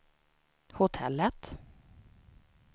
hotellet